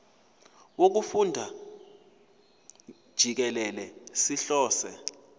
wokufunda jikelele sihlose